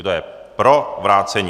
Kdo je pro vrácení?